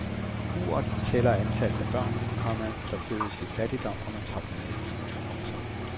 Uret tæller antallet af børn, komma der fødes i fattigdom under topmødet. punktum